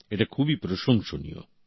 এটা খুবই প্রশংসনীয়